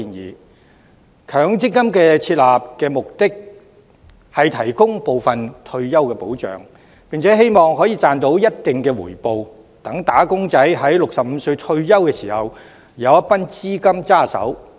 設立強積金的目的是提供部分退休保障，並希望能賺取一定的回報，讓"打工仔"在65歲退休時有一筆資金在手。